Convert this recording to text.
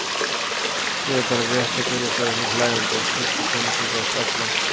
Ég er bara rétt að byrja sagði hún hlæjandi og skellti pönnuköku á staflann.